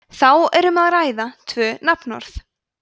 þá er um að ræða tvö nafnorð